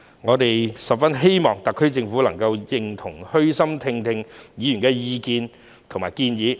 我們十分希望特區政府能夠認同及虛心聆聽議員的意見和建議。